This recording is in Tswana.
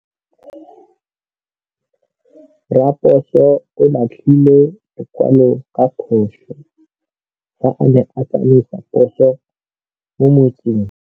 Raposo o latlhie lekwalô ka phosô fa a ne a tsamaisa poso mo motseng.